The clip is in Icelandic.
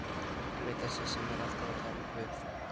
Einmitt- þessi sem er alltaf að tala um Guð.